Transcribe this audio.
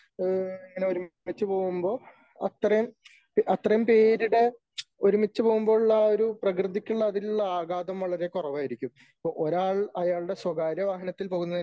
ഈ ഇങ്ങനെ ഒരുമിച്ച് പോകുമ്പോൾ അത്രേ അത്രേയും പേരുടെ ഒരുമിച്ച് പോകുമ്പോളുള്ള എഅ ഒരു പ്രകൃതിക്കുള്ള ആഘാതം വളരെ കുറവായിരിക്കും . ഇപ്പോൾ ഒരാൾ അയാളുടെ സ്വകാര്യ വാഹനത്തിൽ പോകുന്നതിന്